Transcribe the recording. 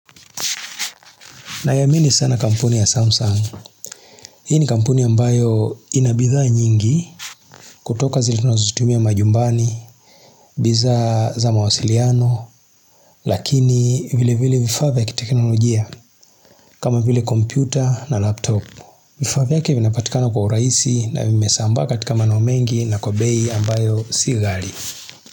Naiamini sana kampuni ya Samsung. Hii ni kampuni ambayo ina bidhaa nyingi kutoka zile tunazozitumia majumbani, bidhaa za mawasiliano, lakini vile vile vifaa vya kiteknolojia, kama vile kompyuta na laptop. Vifaa vyake vinapatikana kwa urahisi na vimesambaa katika maeneo mengi na kwa bei ambayo si ghali.